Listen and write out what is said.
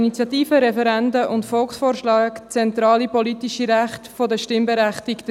Initiativen, Referenden und Volksvorschläge sind zentrale politische Rechte der Stimmberechtigten.